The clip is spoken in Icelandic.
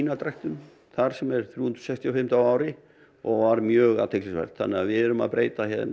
spínatræktun þar sem er þrjú hundruð sextíu og fimm daga á ári og var mjög athyglisvert þannig að við erum að breyta